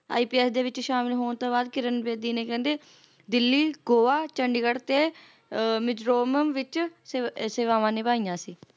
IPS ਦੇ ਵਿੱਚ ਸ਼ਾਮਲ ਹੋਣ ਤੋਂ ਬਾਅਦ ਕਿਰਨ ਬੇਦੀ ਨੇ ਕਹਿੰਦੇ ਦਿੱਲੀ, ਗੋਆ, ਚੰਡੀਗੜ੍ਹ ਤੇ ਮਿਜ਼ੋਰਮਮ ਵਿੱਚ ਸੇ ਸੇਵਾਵਾਂ ਨਿਭਾਈਆਂ ਸੀ